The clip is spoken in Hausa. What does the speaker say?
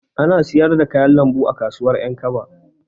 Ana siyar da kayan lambu a kasuwar Ƴankaba.